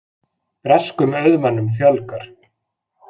Breskum auðmönnum fjölgar